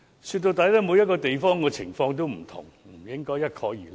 說到底，每個地方的情況也不同，不應該一概而論。